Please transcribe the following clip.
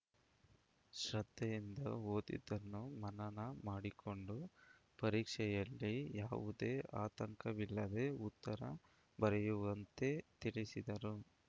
ಶ್ರದ್ಧೆಯಿಂದ ಓದಿದ್ದನ್ನು ಮನನ ಮಾಡಿಕೊಂಡು ಪರೀಕ್ಷೆಯಲ್ಲಿ ಯಾವುದೇ ಆತಂಕವಿಲ್ಲದೇ ಉತ್ತರ ಬರೆಯುವಂತೆ ತಿಳಿಸಿದರು